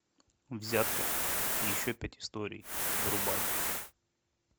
взятка и еще пять историй врубай